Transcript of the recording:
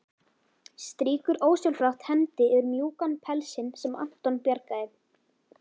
Strýkur ósjálfrátt hendi yfir mjúkan pelsinn sem Anton bjargaði.